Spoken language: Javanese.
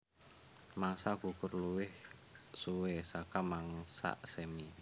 Mangsa gugur luwih suwé saka mangsa semi